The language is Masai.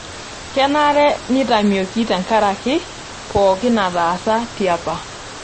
Kenare neitamioki tenkaraki pookin naataasa tiapa.